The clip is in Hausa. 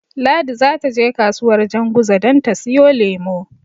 Ladi zata je kasuwar Janguza don ta siyo lemo.